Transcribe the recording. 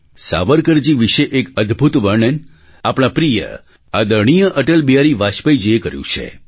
સાવરકરજી વિશે એક અદભૂત વર્ણન આપણા પ્રિય આદરણીય અટલ બિહારી વાજપેયીજીએ કર્યું છે